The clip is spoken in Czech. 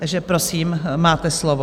Takže prosím, máte slovo.